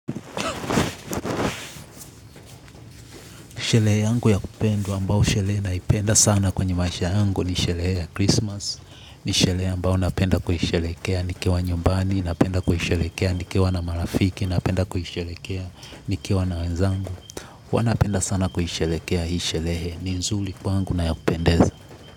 Sherehe yangu ya kupendwa ambao sherehe naipenda sana kwenye maisha yangu ni sherehe ya Christmas. Ni sherehe ambao napenda kuisherehekea nikiwa nyumbani, napenda kuisherehekea nikiwa na marafiki, napenda kuisherehekea nikiwa na wenzangu. Wanapenda sana kuisherehekea hii sherehe, ni nzuri kwangu na ya kupendeza.